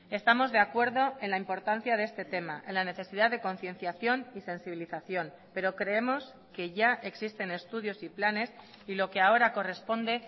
estamos de acuerdo en la importancia de este tema en la necesidad de concienciación y sensibilización pero creemos que ya existen estudios y planes y lo que ahora corresponde